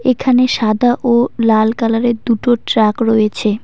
এখানে সাদা ও লাল কালারের দুটো ট্রাক রয়েছে।